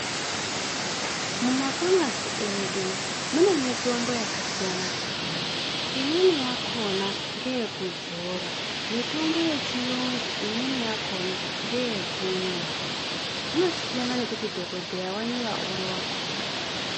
Mumafamasi edu mune mitombo yakasiyana siyana imweni yakona ngeyekudzora , mitombo yechiyungu imweni yachona ngeyekumwa zvinosiyana nekuti dhokoteya wanyora upi wakona